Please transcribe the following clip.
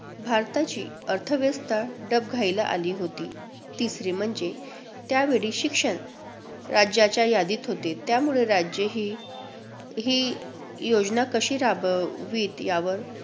भारताची अर्थव्यवस्था डबघाईला आली होती. तिसरे म्हणजे, त्यावेळी शिक्षण राज्याच्या यादीत होते, त्यामुळे राज्ये ही~ ही योजना कशी राबवित यावर